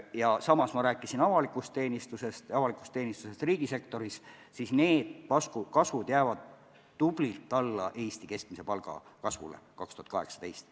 Ja samas ma rääkisin avalikust teenistusest riigisektoris – need kasvud jäävad Eesti keskmise palga kasvule 2018. aastal kõvasti alla.